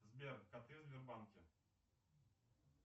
сбер коты в сбербанке